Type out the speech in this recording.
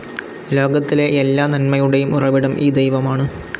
ലോകത്തിലെ എല്ലാ നന്മയുടെയും ഉറവിടം ഈ ദൈവമാണ്.